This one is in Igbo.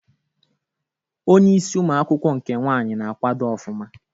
Onye isi ụmụ akwụkwọ nke nwanyị na akwado ofuma